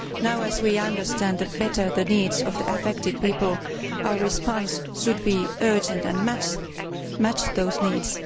Now, as we understand better the needs of the affected people, our response should be urgent and match those needs.